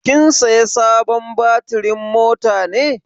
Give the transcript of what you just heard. Kin saya sabon batirin mota ne?